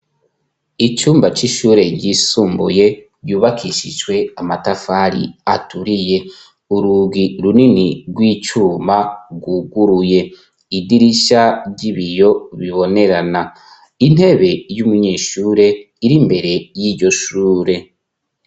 Icumba c'ishure ryisumbuye, yubakishijwe amatafari aturiye, urugi runini rw'icuma rwuguruye, idirishya ry'ibiyo bibonerana, intebe y'umunyeshure iri imbere y'iryo shure.